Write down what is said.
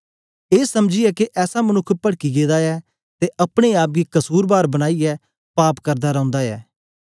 ए समझीयै के ऐसा मनुक्ख पड़की गेदा ऐ ते अपने आप गी कसुरबार बनाईयै पाप करदा रौंदा ऐ